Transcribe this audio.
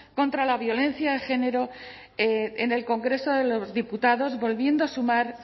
contra la violencia de género en el congreso de los diputados volviendo a sumar